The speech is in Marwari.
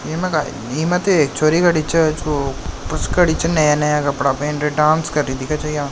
इमते एक छोरी खड़ी छे जो बस खड़ी च नया नया कपडा पहनके डांस करी रही दिख छे या।